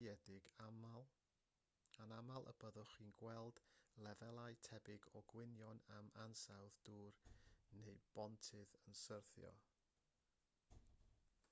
mewn gwledydd datblygedig anaml y byddwch chi'n clywed lefelau tebyg o gwynion am ansawdd dŵr neu bontydd yn syrthio